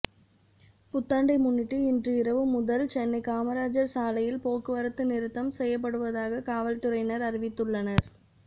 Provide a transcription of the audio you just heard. புத்தாண்டை முன்னிட்டு இன்று இரவு முதல் சென்னை காமராஜர் சாலையில் போக்குவரத்து நிறுத்தம் செய்யப்படுவதாக காவல்துறையினர் அறிவித்துள்ளனர்